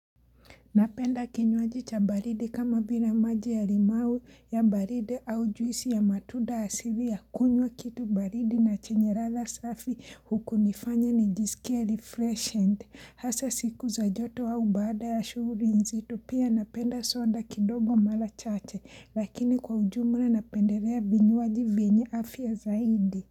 Napenda kinywaji cha baridi kama vile maji ya limau ya baridi au juisi ya matuda asili ya kunywa kitu baridi na chenye ladha safi huku nifanye ni jisikia refreshed. Hasa siku za joto au baada ya shughuli nzito pia napenda soda kidogo mala chache lakini kwa ujumla napendelea vinywaji vienye afya zaidi.